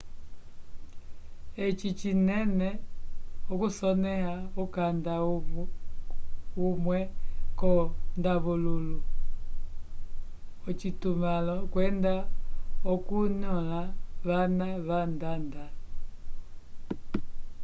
eci cinene okusoneha ukanda humwe ko ndavululu locitumãlo kwenda okunyula vana vandanda